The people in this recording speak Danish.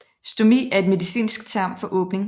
Stomi er et medicinsk term for åbning